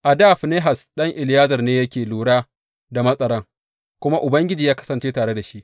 A dā Finehas ɗan Eleyazar ne yake lura da matsaran, kuma Ubangiji ya kasance tare da shi.